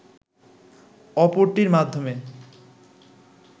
অপরটির মাধ্যমে